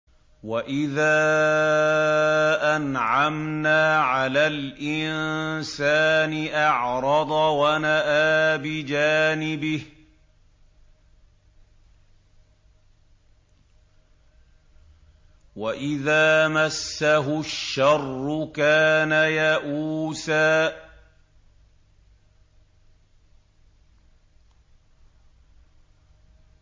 وَإِذَا أَنْعَمْنَا عَلَى الْإِنسَانِ أَعْرَضَ وَنَأَىٰ بِجَانِبِهِ ۖ وَإِذَا مَسَّهُ الشَّرُّ كَانَ يَئُوسًا